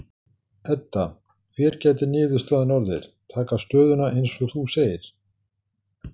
Edda: Hver gæti niðurstaðan orðið, taka stöðuna eins og þú segir?